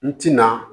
N tɛna